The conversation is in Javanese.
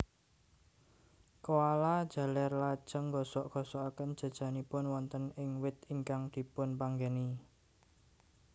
Koala jaler lajeng nggosok gosokaken jajanipun wonten ing wit ingkang dipunpanggeni